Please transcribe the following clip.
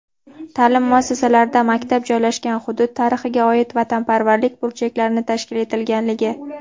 Ta’lim muassasalarida maktab joylashgan hudud tarixiga oid vatanparvarlik burchaklarini tashkil etilganligi.